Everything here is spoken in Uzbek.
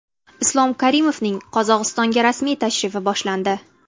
Islom Karimovning Qozog‘istonga rasmiy tashrifi boshlandi.